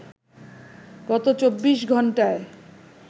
গত ২৪ ঘন্টায়